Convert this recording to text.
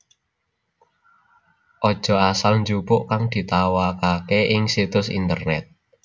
Aja asal njupuk kang ditawakaké ing situs internèt